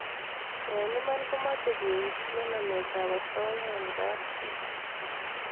eng iman ko mache keoutye namet ab asoya eng kapchii